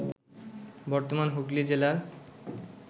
বর্তমান হুগলি জেলার